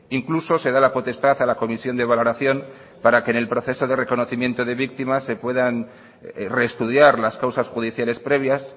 incluso se da la potestad a la comisión de valoración para que en el proceso de reconocimiento de víctimas se puedan reestudiar las causas judiciales previas